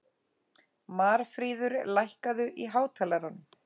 Marfríður, lækkaðu í hátalaranum.